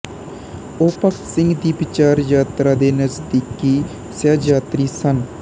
ਉਹ ਭਗਤ ਸਿੰਘ ਦੀ ਵਿਚਾਰਯਾਤਰਾ ਦੇ ਨਜ਼ਦੀਕੀ ਸਹਿਯਾਤਰੀ ਸਨ